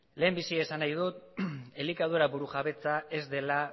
lehendabizi esan nahi dut elikadura burujabetza ez dela